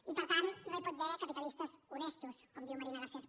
i per tant no hi pot haver capitalistes honestos com diu marina garcés